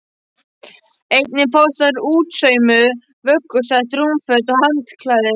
Einnig fást þar útsaumuð vöggusett, rúmföt og handklæði.